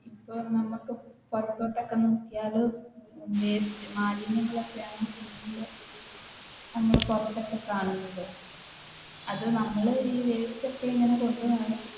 ഇപ്പൊ നമുക്ക് പുറത്തോട്ട് ഒക്കെ നോക്കിയാൽ waste മാലിന്യങ്ങൾ ഒക്കെയാണ് നമ്മൾ പുറത്തൊക്കെ കാണുന്നത് അത് നമ്മൾ വെസ്റ്റൊക്കെ ഇങ്ങനെ കൊണ്ട് നടന്ന്